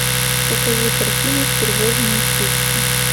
покажи картину стервозные штучки